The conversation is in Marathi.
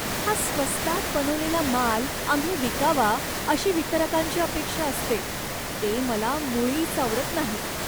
हा स्वस्तात बनवलेला माल आम्ही विकावा अशी वितरकांची अपेक्षा असते ते मला मुळीच आवडत नाही.